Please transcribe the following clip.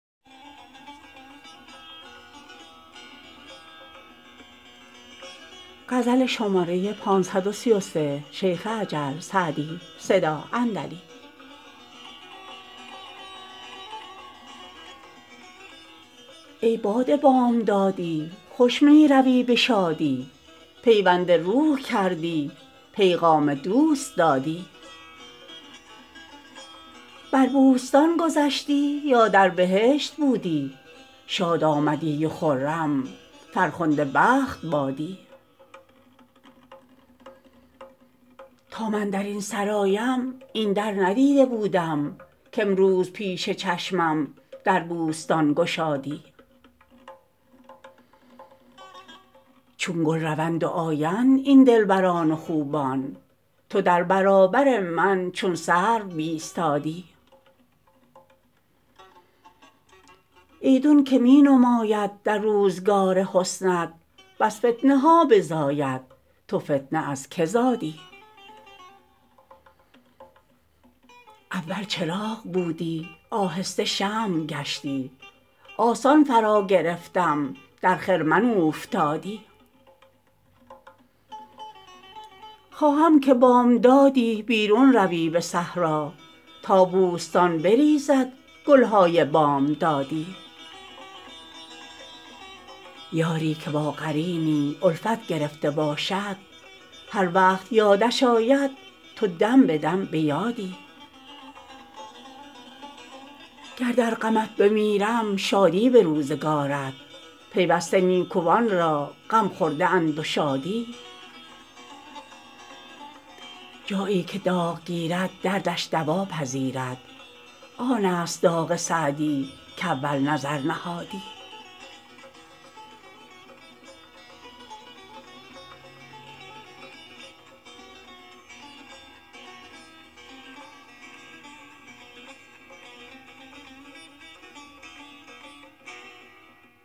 ای باد بامدادی خوش می روی به شادی پیوند روح کردی پیغام دوست دادی بر بوستان گذشتی یا در بهشت بودی شاد آمدی و خرم فرخنده بخت بادی تا من در این سرایم این در ندیده بودم کامروز پیش چشمم در بوستان گشادی چون گل روند و آیند این دلبران و خوبان تو در برابر من چون سرو بایستادی ایدون که می نماید در روزگار حسنت بس فتنه ها بزاید تو فتنه از که زادی اول چراغ بودی آهسته شمع گشتی آسان فراگرفتم در خرمن اوفتادی خواهم که بامدادی بیرون روی به صحرا تا بوستان بریزد گل های بامدادی یاری که با قرینی الفت گرفته باشد هر وقت یادش آید تو دم به دم به یادی گر در غمت بمیرم شادی به روزگارت پیوسته نیکوان را غم خورده اند و شادی جایی که داغ گیرد دردش دوا پذیرد آن است داغ سعدی کاول نظر نهادی